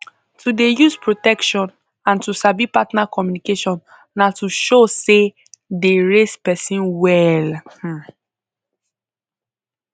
to dey use protection and to sabi partner communication na to show say dey raise person well um